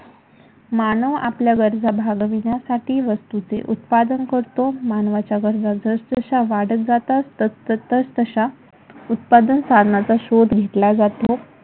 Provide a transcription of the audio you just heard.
मानव आपल्याबद्दल भागविण्यासाठी वस्तुचे उत्पादन करतो. मानवाच्या गरजा जसजशा वाढत जातात तस तशा उत्पादन साधनाचा शोध घेतला जातो.